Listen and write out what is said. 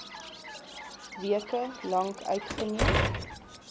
weke lank uitgeneem